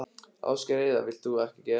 Ásgeir Heiðar: Vilt þú ekki gera það?